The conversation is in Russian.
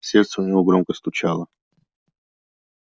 сердце у него громко стучало